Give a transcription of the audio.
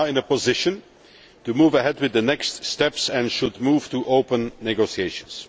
position to move ahead with the next steps and should move to open negotiations.